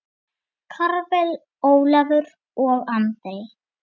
Karvel, Ólafur og Andri.